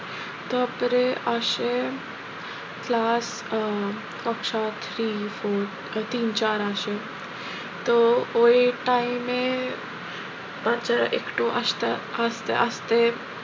তারপরে আসে class ah কক্সা three four তিন চার আসে তো ওই time এ বাচ্চারা একটু আসতে আস্তে আস্তে,